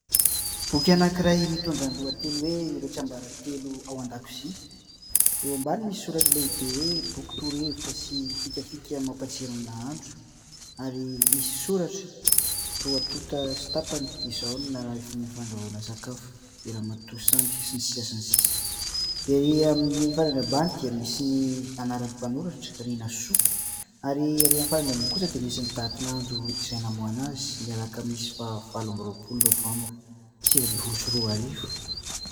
Boky anankiray mitondra ny lohateny hoe "Ireo tsiambaratelo ao an-dakozia". Eo ambany misy soratra lehibe hoe "boky toro-hevitra sy fikafika mampatsiro ny nahandro" ary misy soratra roa tonta sy tapany : izao no nahafehy ny fandrahoana sakafo, i ramatoa Sandy sy ny sisa sy ny sisa. Erỳ amin'ny farany ambany dia misy ny anaran'ny mpanoratra Rinasoa ary erỳ amin'ny farany ambony kosa dia misy ny datin'andro izay namoahana azy ny lakamisy faha valo amby roapolo novambra sivy ambin'ny folo sy roarivo.